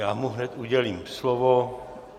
Já mu hned udělím slovo.